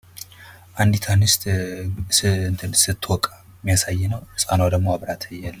አንዷት አንስት ስትወቃ እሚያሳይ ነዉ። ህፃናዋ ደሞ አብራ አለች!